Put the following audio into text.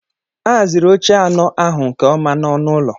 A haziri oche anọ ahụ nke ọma na ọnụ ụlọ.